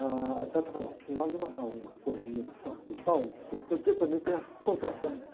A falava, precisava de amarrar uma cordinha no saco do, porque também tem as contrações.